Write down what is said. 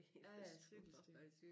Ja ja cykelstyr